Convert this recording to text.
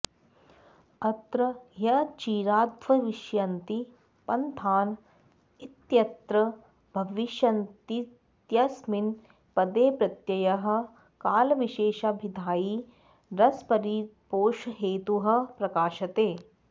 अत्र ह्यचिराद्भविष्यन्ति पन्थान इत्यत्र भविष्यन्तीत्यस्मिन् पदे प्रत्ययः कालविशेषाभिधायी रसपरिपोषहेतुः प्रकाशते